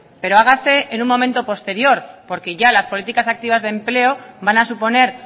pero hágase en un momento posterior porque ya las políticas activas de empleo van a suponer